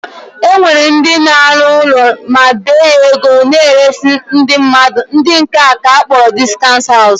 E nwere ndị na-alụ ụlọ ma bee ya ego na-eresị ndị mmadụ, ndị nke a ka akpọrọ discount house